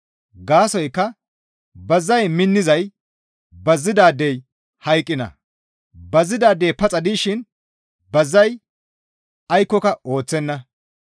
Gaasoykka bazay minnizay bazidaadey hayqqiinna. Bazidaadey paxa dishin bazay aykkoka ooththenna.